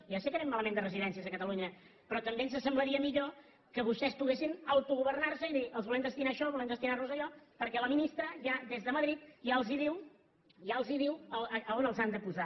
ja sé que anem malament de residències a catalunya però també ens semblaria millor que vostès poguessin autogovernarse i dir els volem destinar a això o volem destinarlos a allò perquè la ministra ja des de madrid ja els diu ja els diu on els han de posar